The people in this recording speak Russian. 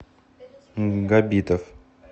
габитов